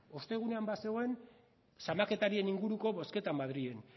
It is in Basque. ostegunean bazegoen zamaketarien inguruko bozketa madrilen